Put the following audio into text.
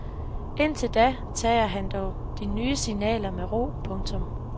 Indtil da tager han dog de nye signaler med ro. punktum